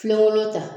Filenkolon ta